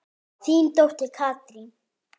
Þín dóttir Katrín.